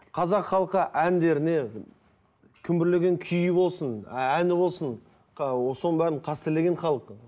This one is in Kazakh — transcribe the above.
қазақ халқы әндеріне күмбірлеген күйі болсын әні болсын соның бәрін қастерлеген халық